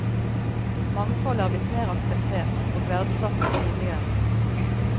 Mangfold er blitt mer akseptert og verdsatt enn tidligere.